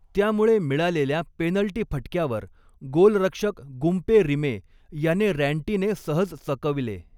त्यामुळे मिळालेल्या पेनल्टी फटक्यावर गोलरक्षक गुम्पे रिमे याने रॅन्टीने सहज चकविले.